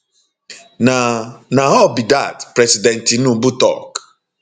na na all be dat president tinubu tok